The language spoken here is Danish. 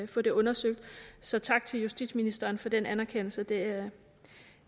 få det undersøgt så tak til justitsministeren for den anerkendelse det